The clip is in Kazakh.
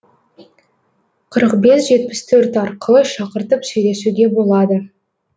қырық бес жетпіс төрт арқылы шақыртып сөйлесуге болады